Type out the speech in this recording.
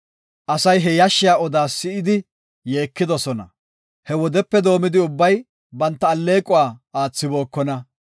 Asay he yashshiya odaa si7idi yeekidosona. He wodepe doomidi ubbay banta alleequwa aathibokona.